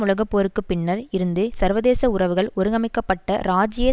உலக போருக்கு பின்னர் இருந்து சர்வதேச உறவுகள் ஒழுங்கமைக்க பட்ட ராஜீய